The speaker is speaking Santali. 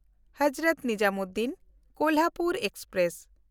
ᱦᱚᱡᱨᱚᱛ ᱱᱤᱡᱟᱢᱩᱫᱽᱫᱷᱤᱱ–ᱠᱳᱞᱦᱟᱯᱩᱨ ᱮᱠᱥᱯᱨᱮᱥ